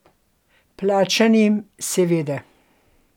Plačanim, seveda.